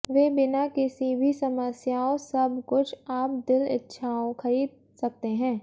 वे बिना किसी भी समस्याओं सब कुछ आप दिल इच्छाओं खरीद सकते हैं